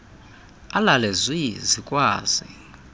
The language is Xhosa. alale zwi zikwazi